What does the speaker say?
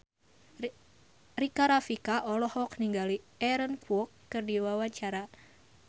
Rika Rafika olohok ningali Aaron Kwok keur diwawancara